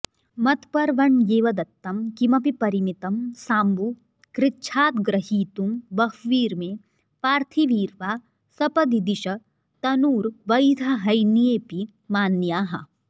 मत्पर्वण्येव दत्तं किमपि परिमितं साम्बु कृच्छाद्ग्रहीतुं बह्वीर्मे पार्थिवीर्वा सपदि दिश तनूर्वैधहैन्येऽपि मान्याः